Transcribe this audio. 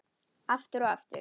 Aftur og aftur.